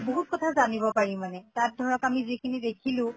বহুত কথা জানব পাৰি মানে। তাত ধৰক আমি যিখিনি দেখিলো